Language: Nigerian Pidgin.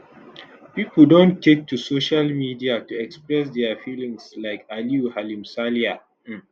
pipo don take to social media to express dia feelings like aliyu halimsaliyah um